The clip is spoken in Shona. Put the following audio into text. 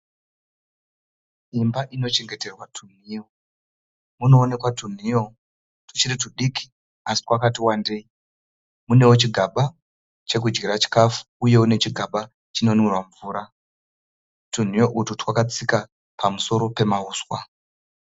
Imba inochengeterwa tunhiyo. Munoonekwa tunhiyo tuchiri tudiki asi twakati wandei. Munewo chigaba chekudyira chikafu uye nechigaba chinokunwirwa mvura. Tunhiyo utwu twakatsika pamusoro pemauswa.